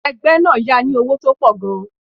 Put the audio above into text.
Ẹgbẹ́ náà yá a ní owó tó pọ̀ gan-an.